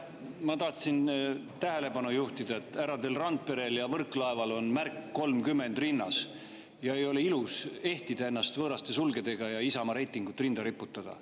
Ma tahtsin tähelepanu juhtida, et härradel Randperel ja Võrklaeval on rinnas märk "30", aga ei ole ilus ehtida ennast võõraste sulgedega ja Isamaa reitingut rinda riputada.